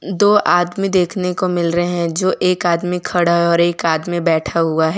दो आदमी देखने को मिल रहे हैं जो एक आदमी खड़ा है और एक आदमी बैठा हुआ है।